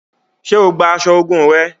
Ṣe o gbà aṣọ ogún rẹ?